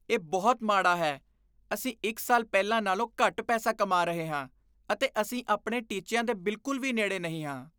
ਇਹ ਬਹੁਤ ਮਾੜਾ ਹੈ! ਅਸੀਂ ਇੱਕ ਸਾਲ ਪਹਿਲਾਂ ਨਾਲੋਂ ਘੱਟ ਪੈਸਾ ਕਮਾ ਰਹੇ ਹਾਂ ਅਤੇ ਅਸੀਂ ਆਪਣੇ ਟੀਚਿਆਂ ਦੇ ਬਿਲਕੁਲ ਵੀ ਨੇੜੇ ਨਹੀ ਹਾਂ।